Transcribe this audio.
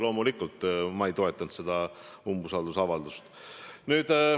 Loomulikult ma ei toetanud seda umbusaldusavaldust.